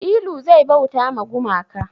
Ilu zai bauta ma gumaka